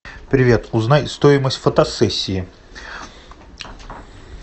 привет узнай стоимость фотосессии